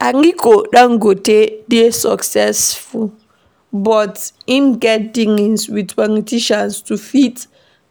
Aliko dangote dey successful but im get dealings with politicians to fit